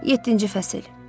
Yeddinci fəsil.